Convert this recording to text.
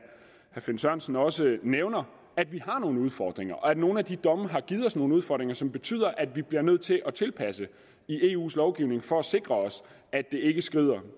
finn sørensen også nævner at vi har nogle udfordringer og at nogle af de domme har givet os nogle udfordringer som betyder at vi bliver nødt til at tilpasse eus lovgivning for at sikre os at det ikke skrider